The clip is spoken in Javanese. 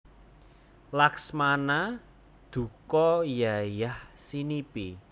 Laksmana duka yayahsinipi